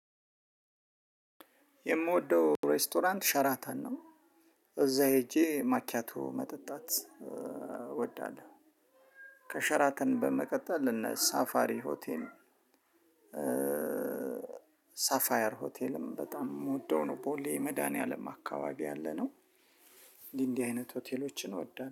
የምወደው ሬስቶራንት ሸራተን ነው እዛ ሄጄ ማኪያቶ መጠጣት እወዳለሁ። ከሸራተን በመቀጠል እነ ሳፋሪ ሆቴል። ሳፋየር ሆቴልም በጣም የምወደው ነው። ቦሌ መድኃኒዓለም አካባቢ ያለነው። እንዲህ እንዲህ አይነት ሆቴሎችን እወዳለሁ